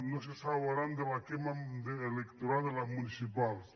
no se salvaran de la electoral de les municipals